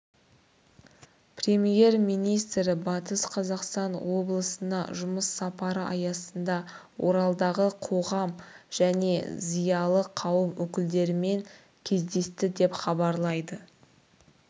премьер-министрі батыс қазақстан облысына жұмыс сапары аясында оралдағы қоғам және зиялы қауым өкілдерімен кездесті деп хабарлайды